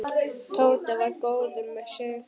Tóti var góður með sig.